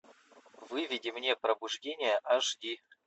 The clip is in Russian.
выведи мне пробуждение аш ди